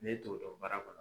N'e t'o dɔn baara kɔnɔ.